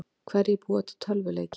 Hverjir búa til tölvuleiki?